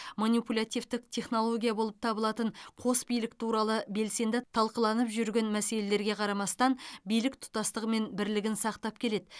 манипулятивтік технология болып табылатын қос билік туралы белсенді талқыланып жүрген мәселелерге қарамастан билік тұтастығы мен бірлігін сақтап келеді